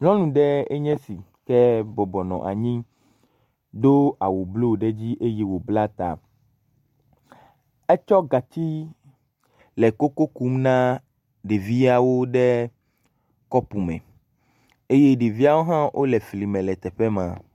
Nyɔnu ɖe enye si ke bɔbɔ nɔ anyi, do awu blu ɖe dzi eye wòbla ta. Etsɔ gatsi le koko kum na ɖeviawo ɖe kɔpu me eye ɖeviawo hã wole fli me le teƒe ma.